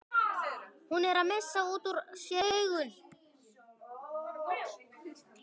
Hún er að missa út úr sér augun.